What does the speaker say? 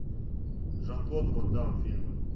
жан клод ван дамм фильмы